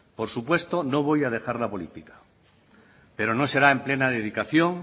por supuesto no voy a dejar la política pero no será en plena dedicación